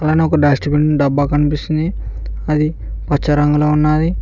పక్కన ఒక dustbin డబ్బా కనిపిస్తుంది అది పచ్చరంగులో ఉన్నాది.